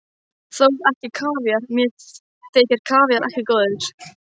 Þó ekki kavíar, mér þykir kavíar ekki góður.